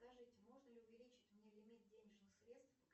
скажите можно ли увеличить мне лимит денежных средств